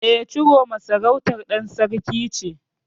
E, Ciroma sarautar ɗan Sarki ce.